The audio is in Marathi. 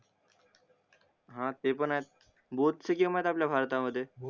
हा ते पण आहेत बोत्सिकीमत आपल्या भारत मधे